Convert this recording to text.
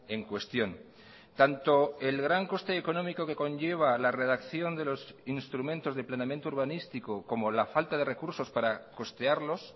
en cuestión tanto el gran coste económico que conlleva la redacción de los instrumentos de planeamiento urbanístico como la falta de recursos para costearlos